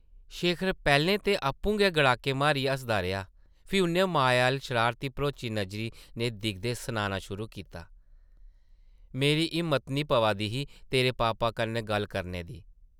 शेखर पैह्लें ते आपूं गै गड़ाके मारियै हसदा रेहा फ्ही उʼन्नै माया अʼल्ल शरारत भरोची नज़रें नै दिखदे सनाना शुरू कीता, मेरी हिम्मत न ’ही पवा दी तेरे पापा कन्नै गल्ल करने दी ।